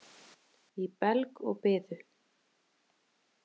Í belg og biðu.